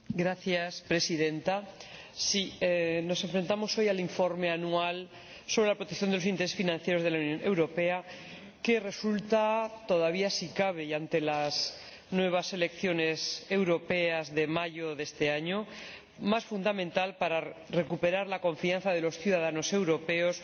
Señora Presidenta, nos enfrentamos hoy al informe anual sobre la protección de los intereses financieros de la Unión Europea, que resulta todavía si cabe y ante las nuevas elecciones europeas de mayo de este año— más fundamental para recuperar la confianza de los ciudadanos europeos